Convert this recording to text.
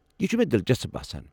یہِ چھُ مےٚ دلچسپ باسان۔